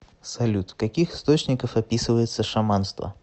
салют в каких источниках описывается шаманство